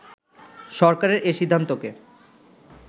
সরকারের এ সিদ্ধান্তকে